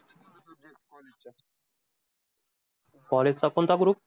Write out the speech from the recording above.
College चा कोणता group?